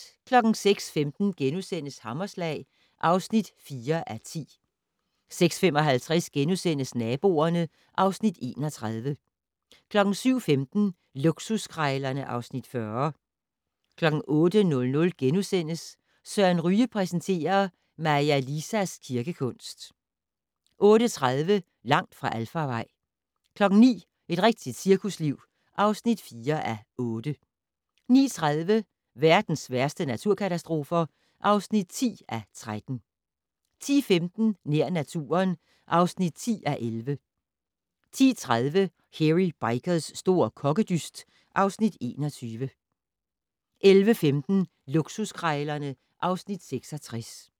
06:15: Hammerslag (4:10)* 06:55: Naboerne (Afs. 31)* 07:15: Luksuskrejlerne (Afs. 40) 08:00: Søren Ryge præsenterer: Maja Lisas kirkekunst * 08:30: Langt fra alfarvej 09:00: Et rigtigt cirkusliv (4:8) 09:30: Verdens værste naturkatastrofer (10:13) 10:15: Nær naturen (10:11) 10:30: Hairy Bikers' store kokkedyst (Afs. 21) 11:15: Luksuskrejlerne (Afs. 66)